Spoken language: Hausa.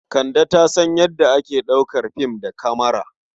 Kande ta san yadda ake ɗaukar fim da kamara.